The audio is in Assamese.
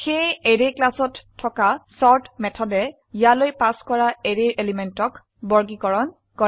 সেয়ে অ্যাৰে ক্লাসত থকা চৰ্ট মেথডে ইয়ালৈ পাস কৰা অ্যাৰো এলিমেন্টক বৰ্গীকৰণ কৰে